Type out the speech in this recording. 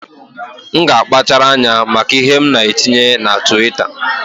M ga-akpachara anya maka ihe m na-etinye na Twitta